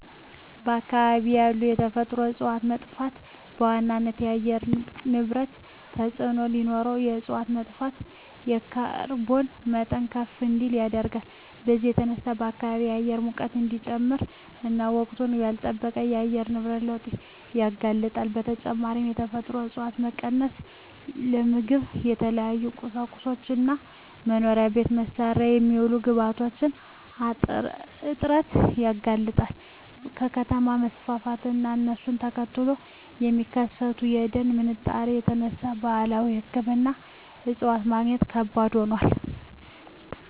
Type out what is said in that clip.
በአካባቢ ያሉ የተፈጥሮ እፀዋት መጥፋት በዋናነት ለአየር ንብረት ተፅዕኖ ሲኖረው እፅዋት መጥፋት የካርቦን መጠን ከፍ እንዲል ያደርጋል። በዚህም የተነሳ የከባቢ አየር ሙቀት እንዲጨምር እና ወቅቱን ላልለጠበቀ የአየር ንብረት ለውጥ ያጋልጣል። በተጨማሪም የተፈጥሮ እፀዋት መቀነስ ለምግብ፣ ለተለያዩ ቁሳቁሶች እና መኖሪያ ቤት መስሪያ የሚሆኑ ግብአቶች እጥረት ያጋልጣል። ከከተማ መስፋፋት እና እሱን ተከትሎ ከሚከሰተው የደን ምንጣሮ የተነሳ ባህላዊ ሕክምና እፅዋት ማግኘት ከባድ ሆኗል።